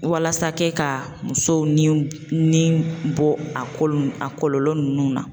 Walasa kɛ ka musow niw niw bɔ a ko a kɔlɔlɔ nunnu na